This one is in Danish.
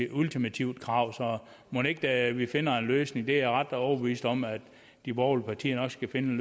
ultimativt krav så mon ikke vi finder en løsning det er jeg ret overbevist om de borgerlige partier nok skal finde